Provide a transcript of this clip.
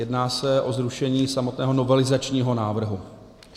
Jedná se o zrušení samotného novelizačního návrhu.